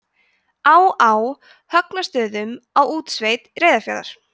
á á högnastöðum á útsveit reyðarfjarðar